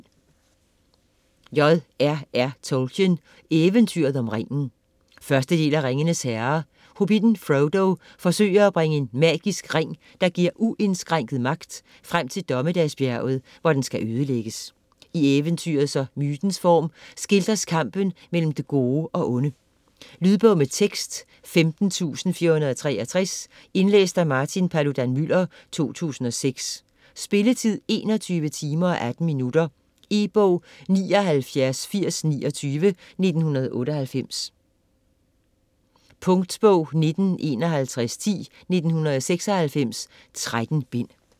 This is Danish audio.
Tolkien, J. R. R.: Eventyret om ringen 1. del af Ringenes herre. Hobbitten Frodo forsøger at bringe en magisk ring, der giver uindskrænket magt, frem til Dommedagsbjerget, hvor den skal ødelægges. I eventyrets og mytens form skildres kampen mellem det gode og onde. Lydbog med tekst 15463 Indlæst af Martin Paludan-Müller, 2006 Spilletid: 21 timer, 18 minutter. E-bog 798029 1998. Punktbog 195110 1996.13 bind.